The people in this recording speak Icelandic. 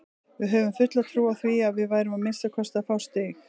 Við höfðum fulla trú á því að við værum að minnsta kosti að fá stig.